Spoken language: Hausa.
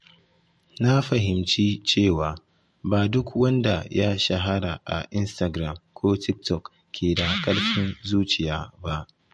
Na fahimci cewa ba duk wanda ya shahara a Instagram ko TikTok ke da ƙarfin zuciya ba.